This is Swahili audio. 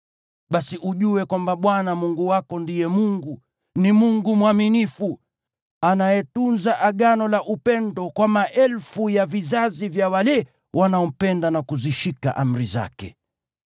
Basi ujue kwamba Bwana Mungu wako ndiye Mungu; ni Mungu mwaminifu, anayetunza Agano la upendo kwa maelfu ya vizazi vya wale wanaompenda na kuzishika amri zake.